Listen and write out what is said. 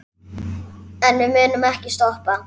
En við munum ekkert stoppa.